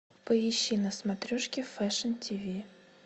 поищи на смотрешке фэшн тв